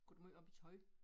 Går du måj op i tøj?